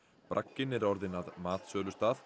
bragginn er orðinn að matsölustað